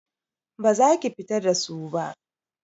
Baza ki fita da su ba.